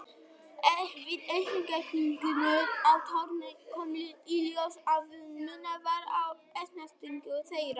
Við efnagreiningu á tárunum kom í ljós að munur var á efnasamsetningu þeirra.